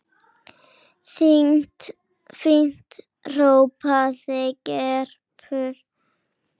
Fínt hrópaði Gerður.